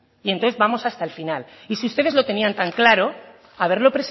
y entonces vamos hasta el final y si ustedes lo tenían tan claro haberlo